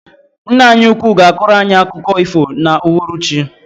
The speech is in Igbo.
Ńnà anyị úkwú ga akoro anyị akụkọ ifo na uhuruchi.